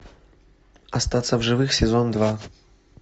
остаться в живых сезон два